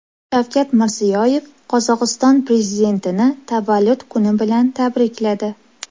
Shavkat Mirziyoyev Qozog‘iston prezidentini tavallud kuni bilan tabrikladi.